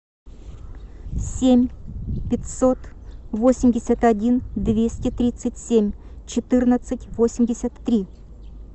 семь пятьсот восемьдесят один двести тридцать семь четырнадцать восемьдесят три